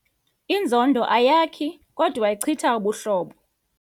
Inzondo ayakhi kodwa ichitha ubuhlobo.